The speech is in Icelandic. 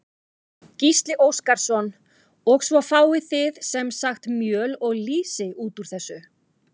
Gísli Óskarsson: Og svo fáið þið sem sagt mjöl og lýsi út úr þessu?